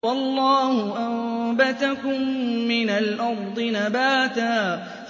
وَاللَّهُ أَنبَتَكُم مِّنَ الْأَرْضِ نَبَاتًا